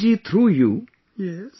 and Prem ji through you